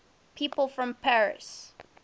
people from paris